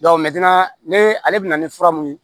ne ale bɛna ni fura mun ye